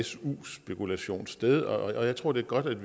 su spekulation sted og jeg tror det er godt